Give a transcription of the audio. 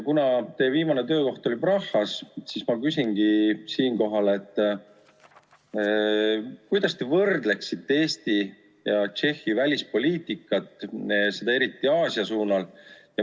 Kuna teie viimane töökoht oli Prahas, siis ma küsingi siinkohal, kuidas te võrdleksite Eesti ja Tšehhi välispoliitikat, seda eriti Aasia suunal.